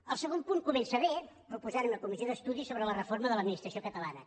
el segon punt comença bé proposant una comissió d’estudi sobre la reforma de l’administració catalana